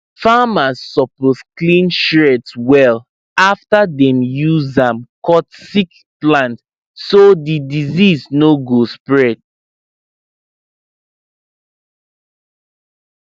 farmers suppose clean shears well after dem use am cut sick plant so di disease no go spread